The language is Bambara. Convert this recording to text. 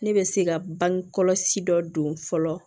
Ne bɛ se ka bange kɔlɔsi dɔ don fɔlɔ